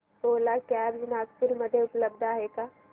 ओला cabs Nagpur मध्ये उपलब्ध आहे का